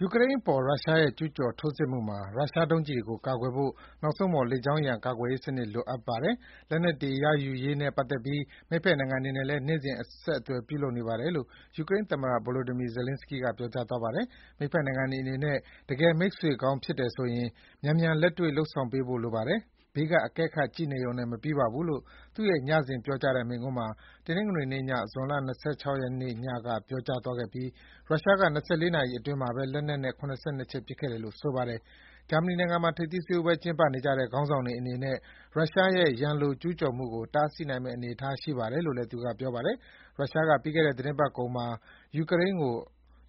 “ယူကရိန်းအပေါ် ရုရှားရဲ့ ကျူးကျော်ထိုးစစ်မှာ ရုရှားဒုံးကျည်တွေကို ကာကွယ်ဖို့ နောက်ဆုံးပေါ် လေကြောင်းရန်ကာကွယ်ရေးစနစ် လိုအပ်ပါတယ်။ လက်နက်တွေ ရယူရေးနဲ့ ပတ်သက်ပြီး မိတ်ဘက်နိုင်ငံတွေနဲ့လည်း နေ့စဉ်အဆက်အသွယ် ပြုလုပ်နေပါတယ်..”လို့ ယူကရိန်းသမ္မတ Volodymyi Zelenskiy က ပြောကြားသွားပါတယ်။...မိတ်ဘက်နိုင်ငံတွေအနေနဲ့ တကယ်မိတ်ဆွေကောင်းဖြစ်တယ်ဆိုရင် မြန်မြန်လက်တွေ့လုပ်ဆောင်ပေးဖို့ လိုပါတယ်၊ ဘေးက အကဲခတ် ကြည့်ရှုနေရုံနဲ့ မပြီးပါဘူး” လို့ သူ့ရဲ့ ညစဉ်ပြောကြားတဲ့ မိန့်ခွန်းမှာ တနင်္ဂနွေည ဇွန် ၂၆ ညက ပြောကြားသွားပြီး ရုရှားက ၂၄ နာရီ အချိန်အတွင်း လက်နက်နဲ့ ၇၂ ချက် ပစ်ခဲ့တယ်လို့ ဆိုပါတယ်။ ဂျာမနီနိုင်ငံမှာ ထိပ်သီးဆွေးနွေးပွဲ ကျင်းပနေကြတဲ့ ခေါင်းဆောင်တွေအနေနဲ့ ရုရှားရဲ့ ရန်လို ကျူးကျော်မှုကို တားဆီးနိုင်မယ့်အနေအထား ရှိပါတယ်လို့လည်း သူက ပြောပါတယ်။ ရုရှားက ပြီးခဲ့တဲ့ သီတင်းပတ်ကုန်မှာ ယူကရိန်းကို